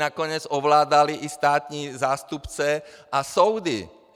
Nakonec ovládali i státní zástupce a soudy!